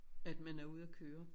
At man er ude at køre